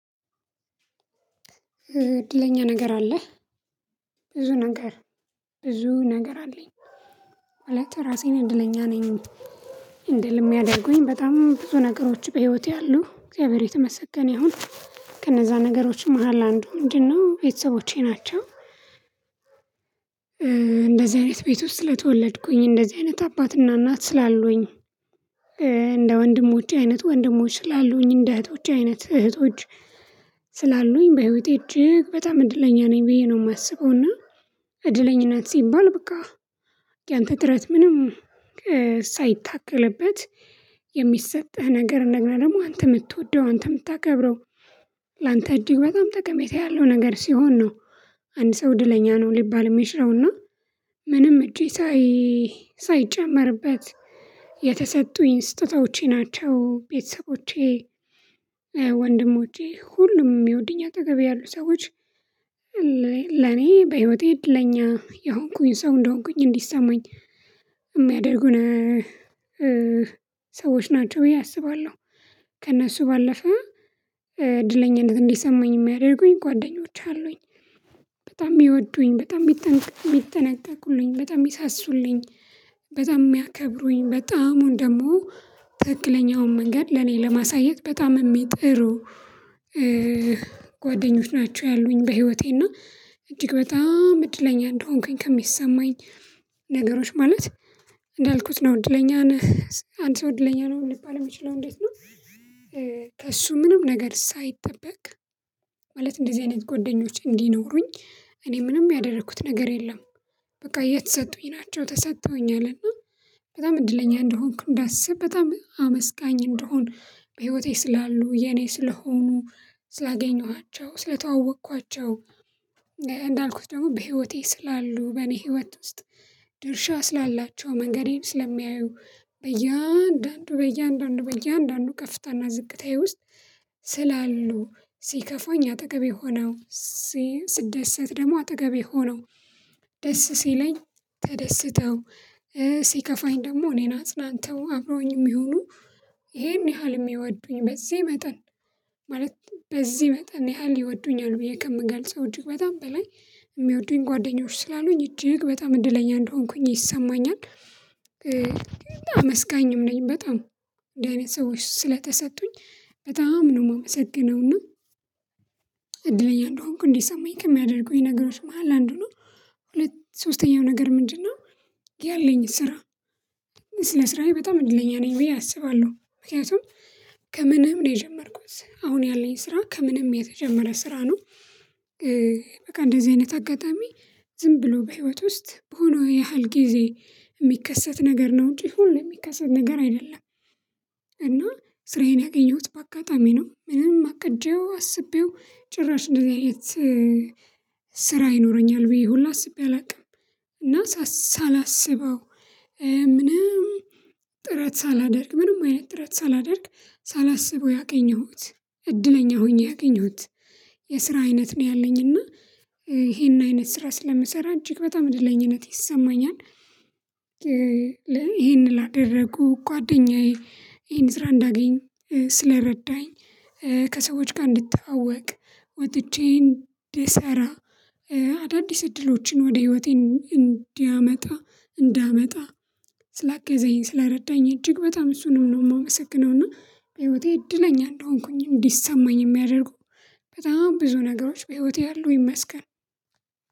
እድለኛ ነገር አለህ? ብዙ ነገር ብዙ ነገር አለኝ። ማለት ራሴን እድለኛ ነኝ እንድልም የሚያደርጉኝጨ በጣም ብዙ ነገሮች በህይወቴ አሉ እግዚአብሔር የተመሰገነ ይሁን። ከነዛ ነገሮች መሃል አንዱ ምንድነው ቤተሰቦቼ ናቸው። እንደዚህ አይነት ቤት ውስጥ ስተወለድኩኝ እንደዚህ አይነት አባትና እናት ስላሉኝ። እንደ ወንድሞቼ አይነት ወንድሞቼ ስላሉኝ እንደ እህቶቼ አይነት እህቶች ስላሉኝ በህይወቴ እጅግ በጣም እድለኛ ነኝ ብዬ ነው የማስበውና። እድለኝነት ሲባል ብቃ ጥረት ምንም ሳይታከልበት የሚሰጥህ ነገርእንደገና ደግሞ አንተ የምትወደው አንተ የምታከብረው ላንተ እጅግ በጣም ጠቀሜታ ያለው ነገር ሲሆን ነው። አንድ ሰው እድለኛ ነው ሊባል የሚችለው እና። ምንም እጄ ሳይ ሳይጨመርበት የተሰጡኝ ስጦታዘቸ ናቸው ቤተሰቦቼ። ወንድሞቼ ሁሉም የሚወዱኝ አጠገቤ ያሉ ሰዎች ለኔ በህይወቴ እድለኛ የሆንኩኝ ሰው እንደሆንኩኝ እንዲሰማኝ የሚያደርጉን ሰዎች ናቸው ብዬ አስባለሁ። ከእነሱ ባለፈ እድለኝነት እንዲሰማኝ የሚያደርጉኝ ጓደኞች አሉኝ። በጣም የሚወዱኝ በጣም የሚጠነቀቁልኝ በጣም የሚሳሱልኝ በጣም የሚያከብሩኝ በጣም ደግሞ ትክክለኛውን መንገድ ለኔ ለማሳየት በጣም የሚጥሩ። ጓደኞች ናቸው ያሉኝ በህይወቴና እጅግ በጣም እድለኛ እንደሆንኩኝ ከሚሰማኝ ነገሮች ማለት እንዳልኩት ነው እድለኛ ነህ አንድ ሰው እድለኛ ነው ሊባል የሚችለው እንዴት ነው? ከእሱ ምንም ነገር ሳይጠበቅ ማለት እንደዚህ አይነት ጓደኞቸ እንዲኖሩኝ እኔ ምንም ያደረኩት ነገር የለም። በቃ የተሰጡኝ ናቸው ተሰጥተውኛል እና በጣም እድለኛ እንደሆንኩ እንዳስብ በጣም አመስጋኝ እንደሆን በህይወቴ ስላሉ የኔ ስለሆኑ ስላገኘኋቸው ስለተዋወቅኳቸው። እንዳልኩት ደግሞ በህይወቴ ስላሉ በእኔ ህይወት ውስጥ ድርሻ ስላላቸው መንገዴን ስለሚያዩ በያንዳንዱ በያንዳንዱ በያንዳንዱ ከፍታና ዝቅታዬ ውስጥ ስላሉ ሲከፋኝ አጠገቤ ሆነው ስደሰት ደግሞ አጠገቤ ሆነው ደስ ሲለኝ ተደስተው ሲከፋኝ ደግሞ እኔን አጽናንተው አብረውኝ የሚሆኑ ይሄን ያህል የሚወዱኝ በዚህ መጠን ማለት በዚህ መጠን ያህል ይወዱኛል ብዬ ከምገልጸው እጅግ በጣም በላይ የሚወዱኝ ጓደኞች ስላሉኝ እጅግ በጣም እድለኛ እንደሆንኩኝ ይሰማኛል። አመስጋኝም ነኝ በጣም እንደዚህ አይነት ሰወች ስለተሰጡኝ በጣም ነው የማመሰገነው። እና እድለኛ እንደሆንኩ እንዲሰማኝ ከሚያደርጉኝ ነገሮች መሃል አንዱ ነው። ሁለት ሶስተኛው ነገር ምንድነው? ያለኝ ስራ ስለ ስራዬ በጣም እድለኛ ነኝ ብዬ አስባለሁ ምክንያቱም ከምንም ነው የጀመርኩት አሁን ያለኝ ስራ ከምንም የተጀመረ ስራ ነው። በቃ እንደዚህ አይነት አጋጣሚ ዝም ብሎ በህይወት ውስጥ በሆነው ያህል ጊዜ የሚከሰት ነገር ነው አንጂ ሁሌ የሚከሰት ነገር አይደለም። እና ስራዬን ያገኘሁት በአጋጣሚ ነው ምንም አቅጀው አስቤው ጭራሽ እንደዚህ አይነት ስራ ይኖረኛል ብዬ ሁላ አስቤ አላውቅም። እና ሳላስበው ምንም ጥረት ሳላደርግ ምንም አይነት ጥረት ሳላደርግ ሳላስበው ያገኘሁት እድለኛ ሆኜ ያገኘሁት የስራ አይነት ነው ያለኝ እና ይሄን አይነት ስራ ስለምሰራ እጅግ በጣም እድለኝነት ይሰማኛል። ይሄን ላደረጉ ጓደኛዬ ይሄን ስራ እንዳገኝ ስለረዳኝ ከሰዎች ጋር እንድተዋወቅ ወጥቼ እንድሰራ አዳዲስ እድሎችን ወደ ህይወቴ እንዲያመጣ እንዳመጣ ስላገዛኝ ስላረዳኝ እጅግ በጣም እሱንም ነው የማመሰግነው። እና በህይወቴ እድለኛ እንደሆንኩኝ እንዲሰማኝ የሚያደርጉ በጣም ብዙ ነገሮች በህይወት ያሉ ይመስገን።